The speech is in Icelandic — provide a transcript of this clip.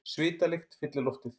Svitalykt fyllir loftið.